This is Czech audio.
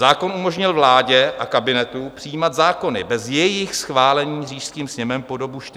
Zákon umožnil vládě a kabinetu přijímat zákony bez jejich schválení říšským sněmem po dobu čtyř let.